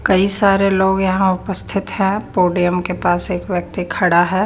कई सारे लोग यहाँ उपस्थित हैं पोडियम के पास एक व्यक्ति खड़ा है।